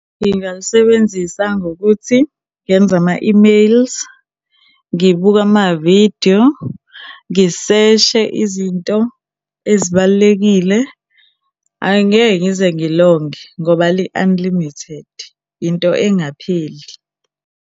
Ngingalisebenzisa ngokuthi ngenze ama-e-mails, ngibuke amavidiyo, ngiseshe izinto ezibalulekile. Angeke ngize ngilonge ngoba li-unlimited, into engapheli.